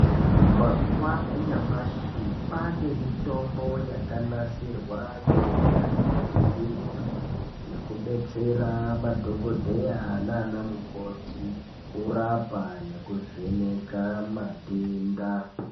Mazuwa enyamashi ane mitombo yakanasirwa ngeunyanzvi ukurutu nyakubetsera madhokodheya anana mukoti, kurapa nekuvheneka matenda.